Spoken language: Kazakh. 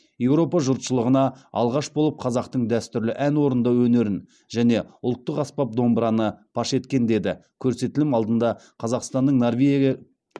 еуропа жұршылығына алғаш болып қазақтың дәстүрлі ән орындау өнерін және ұлттық аспап домбыраны паш еткен деді көрсетілім алдында қазақстанның норвегия